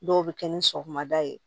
Dɔw bɛ kɛ ni sɔgɔmada ye